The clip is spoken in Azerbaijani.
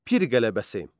Pir qələbəsi.